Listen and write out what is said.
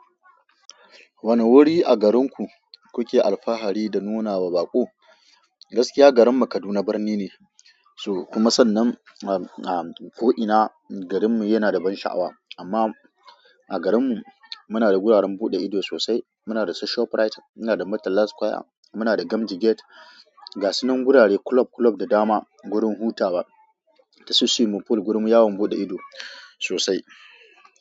Wane wuri a garinku kuke alfahari da nuna wa baƙo? Gaskiya garinmu Kaduna birni ne, so kuma sannan ko ina a garinmu yana da ban sha'awa. Amma a garinmu muna da guraren buɗe ido sosai. Muna da su ShopRite, muna da Murtala Square, muna da Gamji Gate, gasunan gurare kulob kulob da dama, gurin hutawa da su swimming pool. Gurin yawon buɗe ido sosai.